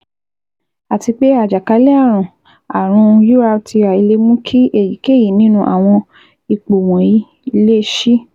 Àti pé àjàkálẹ̀ ààrùn ààrùn URTI le mú kí èyíkéyìí nínú àwọn ipò wọ̀nyií le síi